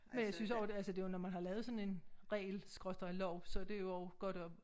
Men jeg synes også det altså når man har lavet sådan en regel skråstreg lov så det jo også godt at